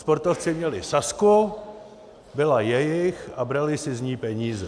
Sportovci měli Sazku, byla jejich a brali si z ní peníze.